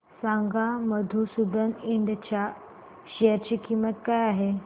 सांगा मधुसूदन इंड च्या शेअर ची किंमत काय आहे